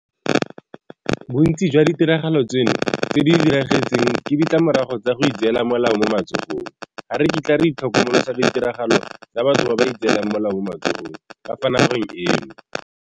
Bontsi jwa ditiragalo tseno tse di diragetseng ke ditlamorago tsa go itseela molao mo matsogong. Ga re kitla re itlhokomolosa ditiragalo tsa batho ba ba itseelang molao mo matsogong ka fa nageng eno.